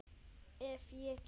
Ef ég get.